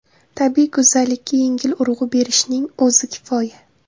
Tabiiy go‘zallikka yengil urg‘u berishning o‘zi kifoya!